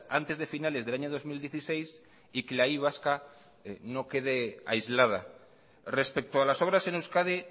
antes de finales del año dos mil dieciséis y que la y vasca no quede aislada respecto a las obras en euskadi